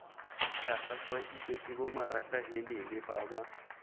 tlhagafaditswe ke bomaratahelele ba ba